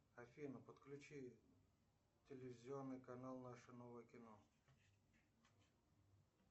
афина подключи телевизионный канал наше новое кино